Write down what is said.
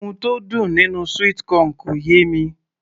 ohun tó dùn nínú sweet corn kò yé mi